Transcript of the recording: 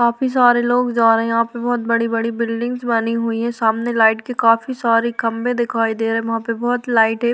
काफी सारे लोग जा रहे हैं यहाँ पे बहोत बड़ी - बड़ी बिल्डिंग बनी हुई हैं सामने लाइट के काफी सारे खंबे दिखाई दे रहे हैं वहाँ पे बहोत लाइटें --